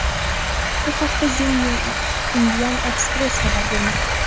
Bu haqda The New Indian Express xabar bermoqda .